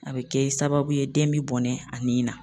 A bɛ kɛ sababu ye den bɛ bɔnɛ a nin na.